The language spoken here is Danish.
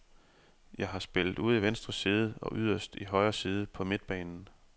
Jeg har spillet ude i venstre side og yderst i højre side på midtbanen.